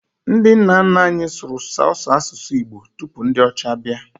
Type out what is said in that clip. Ndi nna nna anyi sụrụ sọsọ asusu igbo tụpụ ndi ọcha bia.